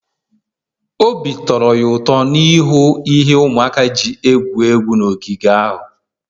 obi tọrọ ya ụtọ ịhụ ihe ụmụaka ji egwuri egwu n'ogige ahụ